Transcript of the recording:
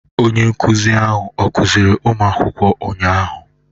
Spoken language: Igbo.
Onye nkụzi ahụ ọ kụziiri ụmụ akwụkwọ ụnyahụ?